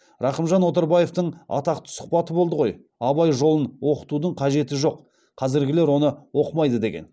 рахымжан отарбаевтың атақты сұхбаты болды ғой абай жолын оқытудың қажеті жоқ қазіргілер оны оқымайды деген